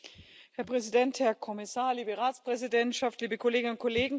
Herr Präsident, Herr Kommissar, liebe Ratspräsidentschaft, liebe Kolleginnen und Kollegen!